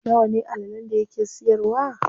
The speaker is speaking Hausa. Nawa ne allalen da yake siyarwa?